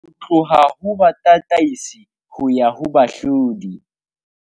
Ho tloha ho batataisi ho ya ho bahlodi